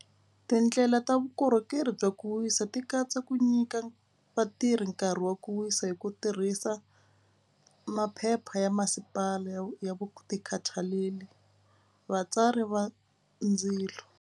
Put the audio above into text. Tindlela ta vukorhokeri bya ku wisa ti katsa ku nyika vatirhi nkarhi wa ku wisa hi ku tirhisa maphepha ya masipala ya ya ku ti khathaleli vatsari va ndzilo.